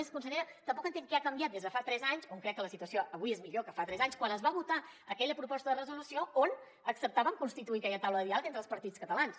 a més consellera tampoc entenc què ha canviat des de fa tres anys on crec que la situació avui és millor que fa tres anys quan es va votar aquella proposta de resolució on acceptaven constituir aquella taula de diàleg entre els partits catalans